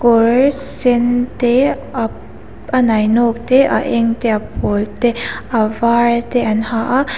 kawr sen te a nino te a eng te a pawl te avar te an ha a--